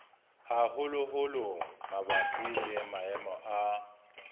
haholoholo mabapi le maemo a